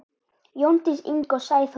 Jóndís Inga og Sæþór Már.